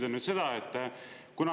Ja teiseks.